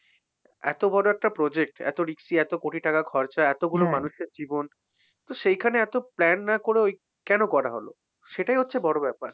এত বড় একটা project এত risky এত কোটি টাকা খরচা, এতগুলো মানুষের জীবন। তো সেইখানে এত plan না করে ওই কেন করা হল? সেটাই হচ্ছে বড় ব্যাপার।